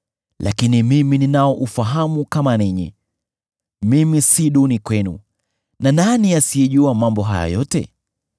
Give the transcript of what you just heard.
Lakini mimi ninao ufahamu kama ninyi; mimi si duni kwenu. Ni nani asiyejua mambo haya yote?